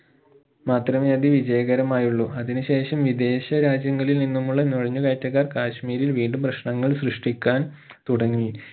മാത്രമേ അത് വിജയകരമായുള്ളു അതിനു ശേഷം വിദേശ രാജ്യങ്ങളിൽ നിന്നുമുള്ള നുഴഞ്ഞുകയറ്റക്കാർ കാശ്മീരിൽ വീണ്ടും പ്രശ്നങ്ങൾ സൃഷ്ടിക്കാൻ തുടങ്ങി